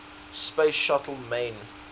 space shuttle main